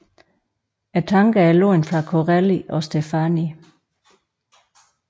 Tankerne er lånte fra Corelli og Steffani